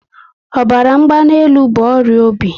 Ọbara mgbanelu bụ ọrịa obi